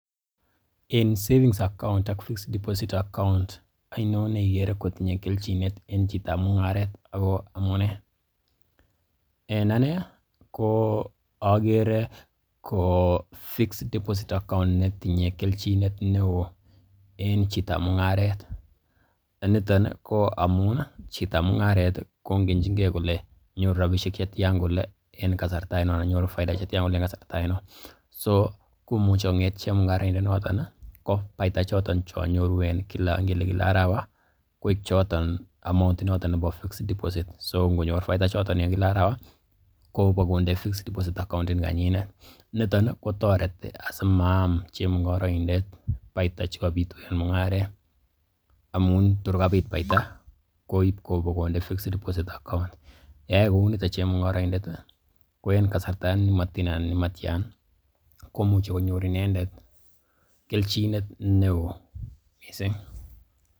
En savings account ak fixed deposit account, oinon ne igere kotinye keljinet en chitab mung'aret ako amunee? En anee ko ogere ko fixed deposit account netinye kelchinet neo en chitab mung'aret. Niton koamun chitab mung'aret koingenchin ge kole nyoru rabishek che tyan kole en kasarta ainon, anan nyoru faida che tyan en ksarta ainon. So komuche kong'ete chemung'arindonotto ko en faiida choton che nyoru ngele kila arawa koik choton , amount noto nebo fixed deposit so ngonyor faida ichoton en kila arawa kobokonde fixed deposit account inikanyinet niton kotoreti asimaam chemung'araindet faida che kobitu en mung'aret amun tor kabit faida koib konde fixed deposit account yeyai kounito chemung'aroindet ko en kasarta nemoten anan nemtyan komuche konyor inendet kelchinet neo mising.